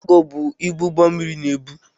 Kaago bụ ibu ụgbọ mmịrị na-ebu.